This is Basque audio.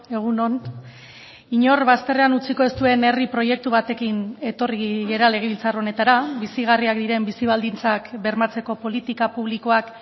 egun on inor bazterrean utziko ez duen herri proiektu batekin etorri gara legebiltzar honetara bizigarriak diren bizi baldintzak bermatzeko politika publikoak